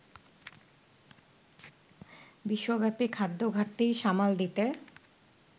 বিশ্বব্যাপী খাদ্য ঘাটতি সামাল দিতে